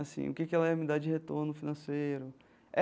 Assim, o que que ela ia me dar de retorno financeiro?